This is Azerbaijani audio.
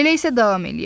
Elə isə davam eləyək.